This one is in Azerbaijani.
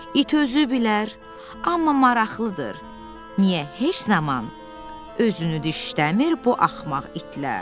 İt özü bilər, amma maraqlıdır, niyə heç zaman özünü dişləmir bu axmaq itlər?